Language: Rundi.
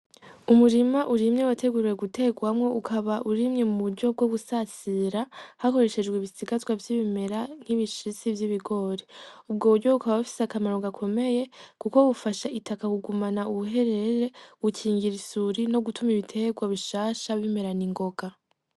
Umurima urimye wateguwe guterwamwo ukaba urimye mu buryo bwo gusasira hakoreshejwe ibisigazwa vy'ibimera nk'ibishisti vy'ibigori . Ubwo buryo bukaba bufise akamaro gakomeye kuko bufasha itaka kugumana ubuherere bukingir'isuri no gitum'ibiterwa bishasha bimera n'ingoga.